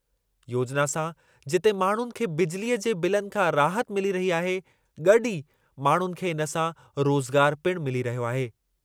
योजिना सां जिते माण्हुनि खे बिजिलीअ जे बिलनि खां राहत मिली रही आहे, गॾु ई माण्हुनि खे इन सां रोज़गारु पिणु मिली रहियो आहे।